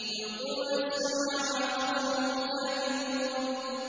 يُلْقُونَ السَّمْعَ وَأَكْثَرُهُمْ كَاذِبُونَ